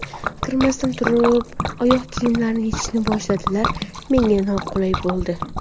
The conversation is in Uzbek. Kirmasdan turib, oyoq kiyimlarini yechishni boshladilar, menga noqulay bo‘ldi.